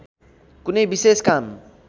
कुनै विशेष काम